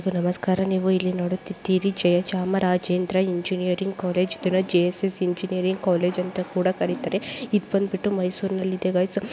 ನಮಸ್ಕಾರ ನೀವು ಇಲ್ಲಿ ನೋಡುತ್ತೀರಿ ಜಯಚಾಮರಾಜೇಂದ್ರ ಇಂಜಿನಿಯರಿಂಗ್ ಕೋರ್ಸ್ಚಿತ್ರ ಸೆಂಚುರಿಯನ್ ಕಾಲೇಜ್ ಅಂತ ಕೂಡ ಕರೀತಾರೆ. ಇದು ಮೈಸೂರಿನಲ್ಲಿಗಳು.